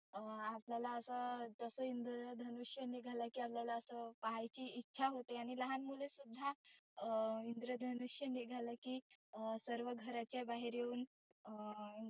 अं आपल्याला असं जसं इंद्रधनुष्य निघाला की आपल्याला असं पहायची इच्छा होते आणि लहान मुले सुद्धा अं इंद्रधनुष्य निघाला की सर्व घराच्या बाहेर येऊन अं